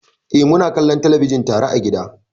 Eh, muna kallon talabijin tare a gida.